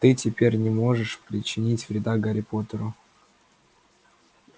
ты теперь не можешь причинить вреда гарри поттеру